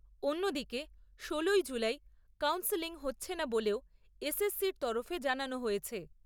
অন্যদিকে, ষোলোই July counselling হচ্ছে না বলেও এসএসসি র তরফে জানানো হয়েছে।